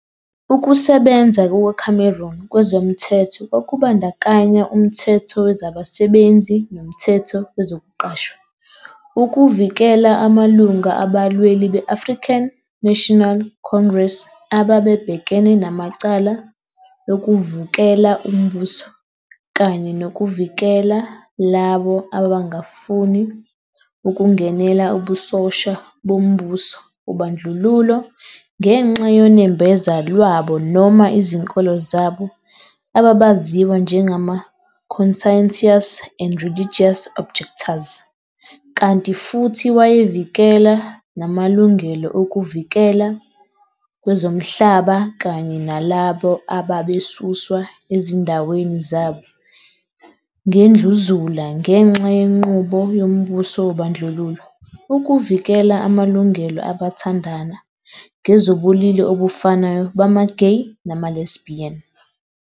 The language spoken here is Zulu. Ukusebenza kukaCameron kwezomthetho kwakubandakanya umthetho wezabasebenzi nomthetho wezokuqashwa, ukuvikela amalunga abalweli be-African National Congress ababebhekene namacala lokuvukela umbuso, kanye nokuvikela labo ababangafuni ukungenela ubusosha bombuso wobandlululo ngenxa yonembeza lwabo noma izinkolo zabo ababaziwa njengama-conscientious and religious objectors, kanti futhi wayevikela namalungelo okuvikeleka kwezomhlaba kanye nalabo ababesuswa ezindaweni zabo ngendluzula ngenxa yenqubo yombuso wobandlululo, ukuvikela amalungelo abathandana ngezobulili obufanayo bama-gay nama-lesbian.